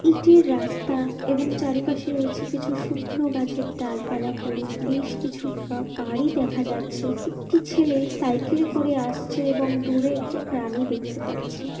ইটের রাস্তা এবং চারিপাশে রয়েছে। কিছু শুকনো গাছের ডালপালা পড়ে। বেশ কিছু কা বাড়ি দেখা যাচ্ছে। একটি ছেলে সাইকেলে করে আসছে এবং দূরে একটি প্রাণী দেখতে পাচ্ছি।